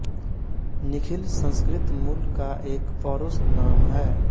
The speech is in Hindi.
निखिल संस्कृत मूल का एक पौरुष नाम है